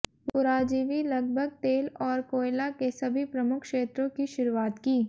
पुराजीवी लगभग तेल और कोयला के सभी प्रमुख क्षेत्रों की शुरूआत की